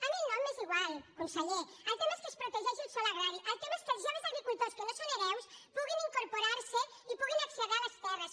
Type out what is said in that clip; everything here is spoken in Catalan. a mi el nom m’és igual con·seller el tema és que es protegeixi el sòl agrari el te·ma és que els joves agricultors que no són hereus pu·guin incorporar·se i puguin accedir a les terres